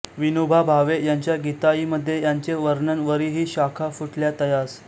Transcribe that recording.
विनोबा भावे यांच्या गीताईमध्ये याचे वर्णन वरी हि शाखा फुटल्या तयास